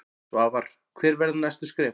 Svavar: Hver verða næstu skref?